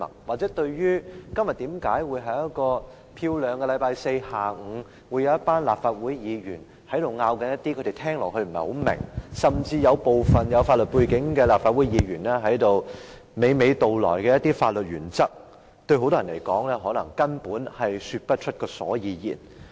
或者，很多人對於在今天這個明媚的星期四下午，一群立法會議員所爭論的事宜，甚至是部分有法律背景的立法會議員娓娓道來的一些法律原則，他們聽起來不太明白，根本說不出所以然。